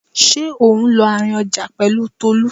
Ṣé ò ń lọ àárín ọjà pẹ̀lú Tolú?